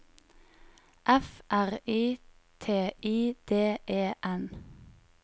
F R I T I D E N